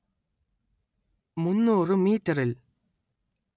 മുന്നൂറ്‌ മീറ്ററിൽ